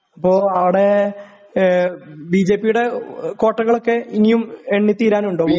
അപ്പോ ആടെ ഏഹ് ബിജെപിയുടെ കോട്ടകളക്കെ ഇനിയും എണ്ണി തീരാനുണ്ടോ?